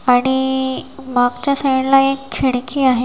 आणि मागच्या साईडला एक खिडकी आहे.